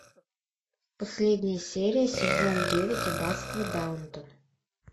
последняя серия сезон девять аббатство даунтон